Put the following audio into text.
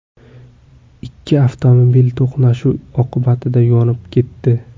Ikki avtomobil to‘qnashuv oqibatida yonib ketdi.